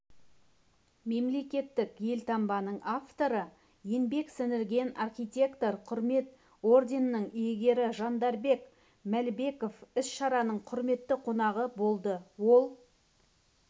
мемлекеттік елтаңбаның авторы еңбек сіңірген архитектор құрмет орденінің иегері жандарбек мәлібеков іс-шараның құрметті қонағы болды ол